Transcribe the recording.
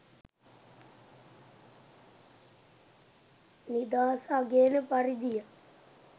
නිදහස අගයන පරිදිය